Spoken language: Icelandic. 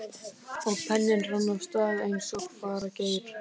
Og penninn rann af stað eins og fara gerir.